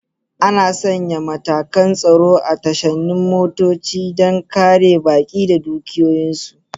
Ana sanya matakan tsaro a tashanin motoci don kare baƙi da dukiyoyinsu.